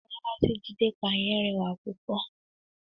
Labalábá tí Jídé pa yẹn rẹwà púpọ̀.